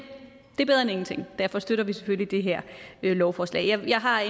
det er bedre end ingenting og derfor støtter vi selvfølgelig det her lovforslag jeg har